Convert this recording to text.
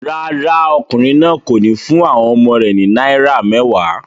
Rárá, ọkùnrin náà kò ní fún àwọn ọmọ rẹ̀ ní náírà mẹ́wàá.